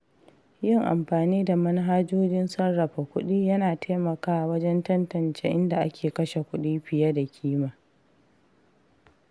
Yin amfani da manhajojin sarrafa kuɗi yana taimakawa wajen tantance inda ake kashe kuɗi fiye da kima.